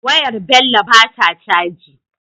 Wayar Bello bata caji